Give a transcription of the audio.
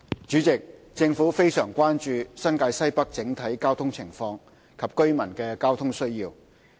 主席，政府非常關注新界西北整體交通情況及居民的交通需要。